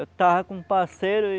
Eu tava com um parceiro e...